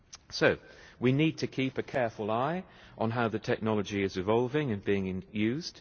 So we need to keep a careful eye on how the technology is evolving and being in used.